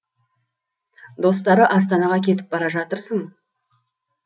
достары астанаға кетіп бара жатырсың